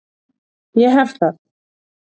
Ég hef það.